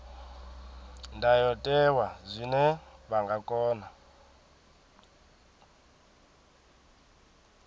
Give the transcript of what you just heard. ndayotewa zwine vha nga kona